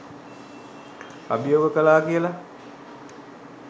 අභියෝග කලා කියල.